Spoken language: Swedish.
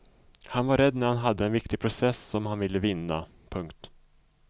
Han var rädd när han hade en viktig process som han ville vinna. punkt